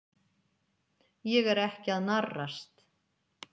Ég er ekki að narrast.